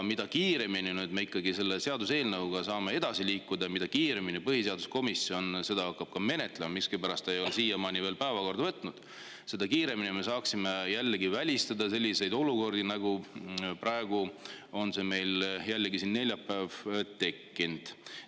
Mida kiiremini me selle seaduseelnõuga saame edasi liikuda ja mida kiiremini põhiseaduskomisjon seda hakkab menetlema – miskipärast ei ole seda siiamaani veel päevakorda võetud –, seda kiiremini me saaksime välistada selliseid olukordi, nagu praegu on meil jällegi siin täna, neljapäeval tekkinud.